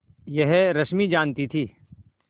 यह रश्मि जानती थी